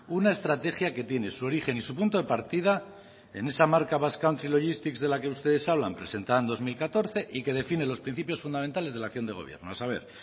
una estrategia que tiene su origen y su punto de partida en esa marca basque country logistic de la que ustedes hablan presentada en dos mil catorce y que define los principios fundamentales de la acción del gobierno a saber